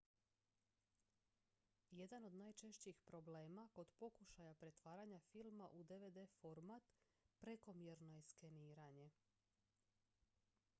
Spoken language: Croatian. jedan od najčešćih problema kod pokušaja pretvaranja filma u dvd format prekomjerno je skeniranje